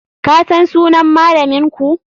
Kasan sunan malaminku?